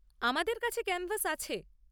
আমাদের কাছে ক্যানভাস আছে।